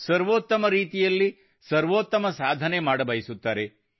ಸರ್ವೋತ್ತಮ ರೀತಿಯಲ್ಲಿ ಸರ್ವೋತ್ತಮ ಸಾಧನೆ ಮಾಡಬಯಸುತ್ತಾರೆ